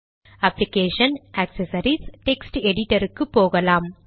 application ஜிடி accessories ஜிடி text editor போகலாம்